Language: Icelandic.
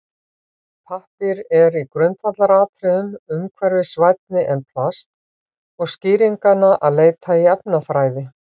Pappír er í grundvallaratriðum umhverfisvænni en plast og er skýringanna að leita í efnafræði.